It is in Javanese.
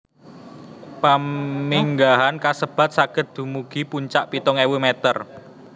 Paminggahan kasebat saged dumugi puncak pitung ewu meter